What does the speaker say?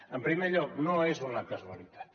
en primer lloc no és una casualitat